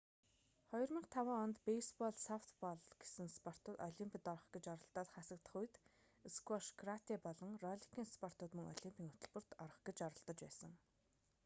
2005 онд бейсбол софтбол гэсэн спортууд олимпод орох гэж оролдоод хасагдах үед сквош каратэ болон ролликийн спортууд мөн олимпийн хөтөлбөрт орох гэж оролдож байсан